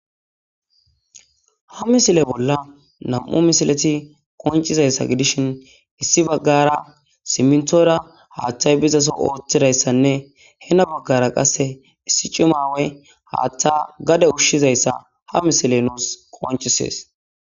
ha misile bolla nam7u misileti qoncizayssa gidishin issi baggara simntora haaththay bizaso ooththidayssanne hena baggara qasse issi cima aawa haaththa gade ushshizayssa ha misile nuus koncisees